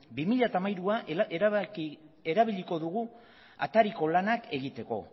bi mila hamairua erabiliko dugu atariko lanak egiteko